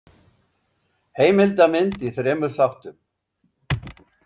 Heimildamynd í þremur þáttum.